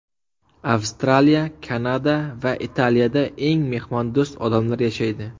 Avstraliya, Kanada va Italiyada eng mehmondo‘st odamlar yashaydi.